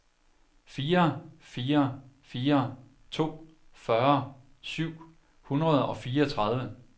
fire fire fire to fyrre syv hundrede og fireogtredive